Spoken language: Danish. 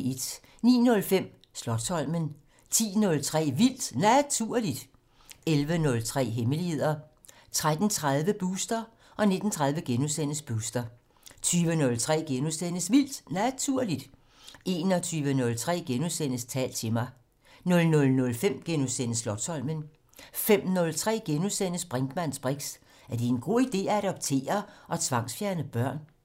09:05: Slotsholmen 10:03: Vildt Naturligt 11:03: Hemmeligheder 13:30: Booster 19:30: Booster * 20:03: Vildt Naturligt * 21:03: Tal til mig * 00:05: Slotsholmen * 05:03: Brinkmanns briks: Er det en god ide at adoptere og tvangsfjerne børn? *